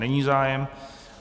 Není zájem.